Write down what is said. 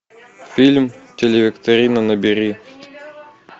фильм телевикторина набери